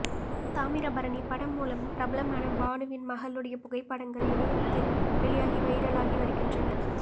தாமிரபரணி படம் மூலம் பிரபலமான பானுவின் மகளுடைய புகைப்படங்கள் இணையத்தில் வெளியாகி வைரலாகி வருகின்றன